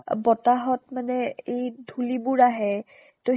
বতাহত মানে এই ধূলিবোৰ আহে ত